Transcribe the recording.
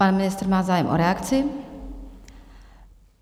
Pan ministr má zájem o reakci?